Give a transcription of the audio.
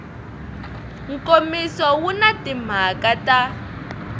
nkomiso wu na timhaka ta